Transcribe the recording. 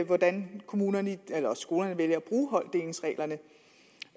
hvordan skolerne vælger